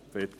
Fertig!